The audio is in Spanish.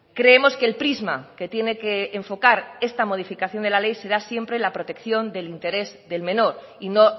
creemos que el prisma que tiene que enfocar esta modificación de la ley será siempre la protección del interés del menor y no